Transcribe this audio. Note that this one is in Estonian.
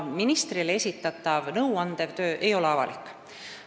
Nõuandev töö ministrile ei ole avalik.